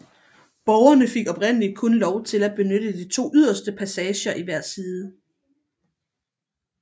Borgerne fik oprindeligt kun lov at benytte de to yderste passager i hver side